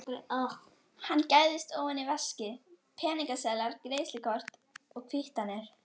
Hann gægist ofan í veskið, peningaseðlar, greiðslukort, kvittanir.